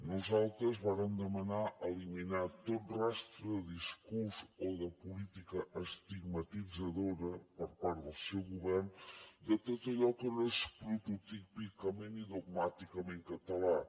nosaltres vàrem demanar eliminar tot rastre de discurs o de política estigmatitzadora per part del seu govern de tot allò que no és prototípica ni dogmàticament català